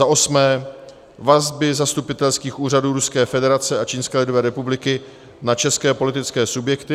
za osmé: vazby zastupitelských úřadů Ruské federace a Čínské lidové republiky na české politické subjekty;